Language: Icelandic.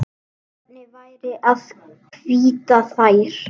Hvernig væri að hvítta þær?